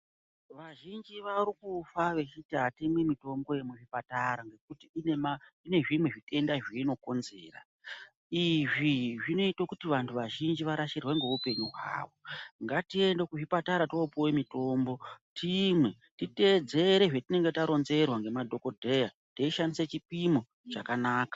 Vazhinji varikufa vachiti hatimwi mitombo yemuchipatara nekuti ine zvimwe zvitenda zveinokonzera. Izvi zvinoite kuti vantu vazhinji varasirwe ngeupenyu hwavo. Ngatiende kuzvipatara topuve mitombo timwe titedzere zvetinenge taronzerwa ngemadhogodheya teishandise chipimo chakanaka.